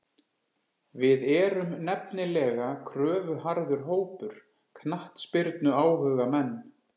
Við erum nefnilega kröfuharður hópur, knattspyrnuáhugamenn.